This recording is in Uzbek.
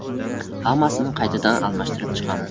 Hammasini qaytadan almashtirib chiqamiz.